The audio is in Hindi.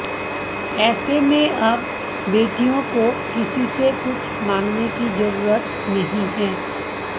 ऐसे में अब बेटियों को किसी से कुछ मांगने की जरूरत नहीं है